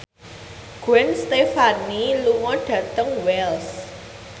Gwen Stefani lunga dhateng Wells